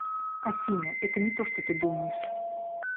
афина это не то что ты думаешь